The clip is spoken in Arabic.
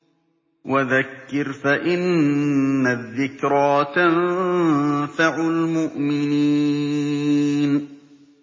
وَذَكِّرْ فَإِنَّ الذِّكْرَىٰ تَنفَعُ الْمُؤْمِنِينَ